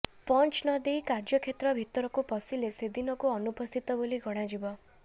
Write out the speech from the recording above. punch ନଦେଇ କାର୍ଯ୍ୟକ୍ଷେତ୍ର ଭିତରକୁ ପଶିଲେ ସେଦିନକୁ ଅନୁପସ୍ଥିତ ବୋଲି ଗଣାଯିବ